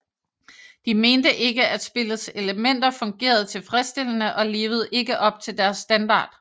De mente ikke at spillets elementer fungerede tilfredsstillende og levede ikke op til deres standard